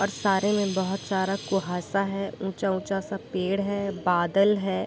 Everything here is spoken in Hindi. और सारे में बहोत सारा कुहासा है ऊँचा-ऊँचा सब पेड़ है बादल है ।